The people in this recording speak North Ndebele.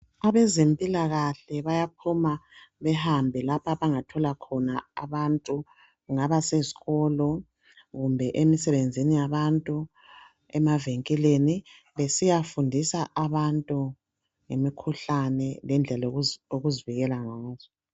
Abezempilakahle bayaphuma bahambe lapho abangathola khona abantu, kungaba sesikolo kumbe emisebenzini yabantu, emavinkilini besiyafundisa abantu ngemikhuhlane lendlela zokuvikela ngazo.